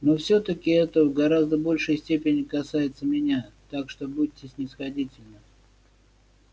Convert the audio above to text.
но всё-таки это в гораздо большей степени касается меня так что будьте снисходительны